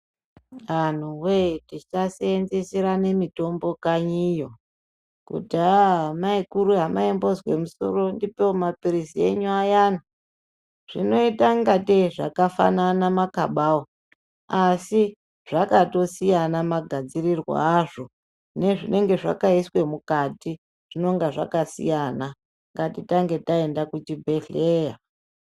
Anhuwee tisaseenzeserane mitombo kanyiyo, kuti haa mai akuru hamaimbozwe musoro ndipeiwo mapirizi enyu ayana. Zvinoita ngatei zvakafanana makabawo, asi zvakatosiyana magadzirirwe azvo nezvinenge zvakaiswe mukati zvinenga zvakasiyana. Ngatiende kuzvibhedhleya.